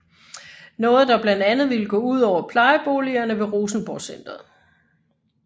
Noget der blandt andet ville gå udover plejeboligerne ved Rosenborgcentret